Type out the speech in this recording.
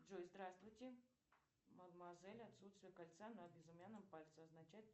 джой здравствуйте мадемуазель отсутствие кольца на безымянном пальце означает